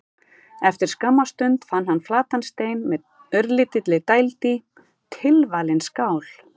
Eftir skamma stund fann hann flatan stein með örlítilli dæld í: tilvalin skál.